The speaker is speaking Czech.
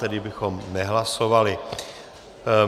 Tedy bychom nehlasovali.